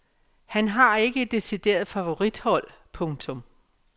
Han har ikke et decideret favorithold. punktum